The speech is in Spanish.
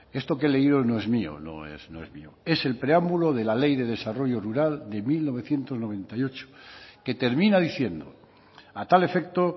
esto que he leído no es mío no es mío en el preámbulo de la ley de desarrollo rural de mil novecientos noventa y ocho que termina diciendo a tal efecto